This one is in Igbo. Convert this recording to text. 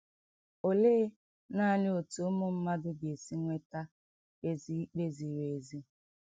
Olee nanị otú ụmụ mmadụ ga - esi nweta ezi ikpe ziri ezi?